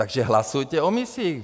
Takže hlasujte o misích!